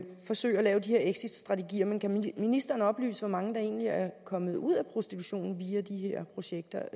forsøgt at lave de her exitstrategier men kan ministeren oplyse hvor mange der egentlig er kommet ud af prostitution via de her projekter